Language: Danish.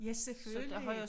Ja selvfølgelig